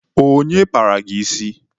Onye kpara gị isi?